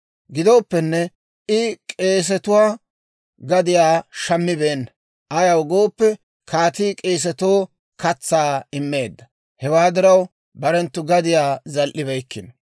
Gidooppenne I k'eesetuwaa gadiyaa shammibeenna; ayaw gooppe, kaatii k'eesatoo katsaa immeedda. Hewaa diraw barenttu gadiyaa zal"ibeykkino.